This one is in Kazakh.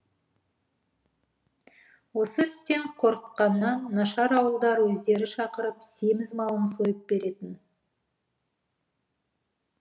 осы істен қорыкқаннан нашар ауылдар өздері шақырып семіз малын сойып беретін